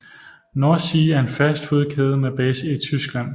Nordsee er en fastfoodkæde med base i Tyskland